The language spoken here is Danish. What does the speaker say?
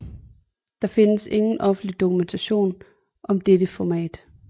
Der findes ingen offentlig dokumentation om dette format